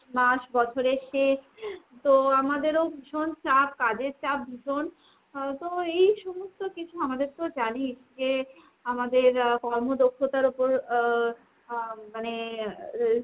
মাস বছরের শেষ তো আমাদের ও ভীষণ চাপ, কাজের চাপ ভীষণ। আহ তো এই সমস্ত কিছু, আমাদের তো জানিস যে আমাদের আহ কর্মদক্ষতার ওপর আহ মানে আহ